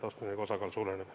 Kristen Michal, palun!